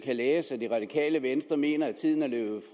læse at det radikale venstre mener at tiden er løbet